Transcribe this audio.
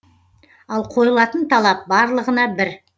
ал қойылатын талап барлығына бір